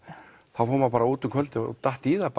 þá fór maður bara út um kvöldið og datt í það